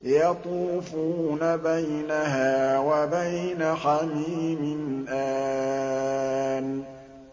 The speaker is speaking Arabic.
يَطُوفُونَ بَيْنَهَا وَبَيْنَ حَمِيمٍ آنٍ